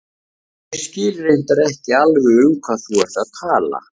Ég skil reyndar ekki alveg um hvað þú ert að tala.